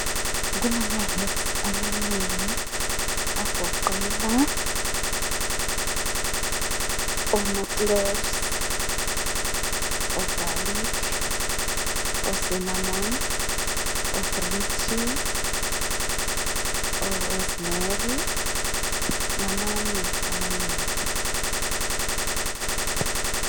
Kula herbs amanengi agoqela o ma cloves o garlic o cinnamon o green tea o rosemarry lamanye amanengi